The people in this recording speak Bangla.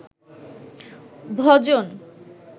ভজন